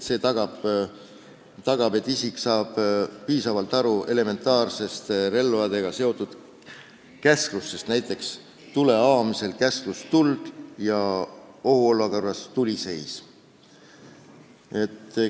See tagab, et isik saab piisavalt aru elementaarsetest relvaga seotud käsklustest, näiteks tule avamisel käsklus "Tuld!" ja ohuolukorras "Tuli seis!".